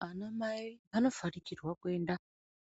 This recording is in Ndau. Ana mai anofanikirwa kuenda